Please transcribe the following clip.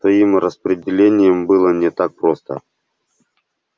с твоим распределением было не так просто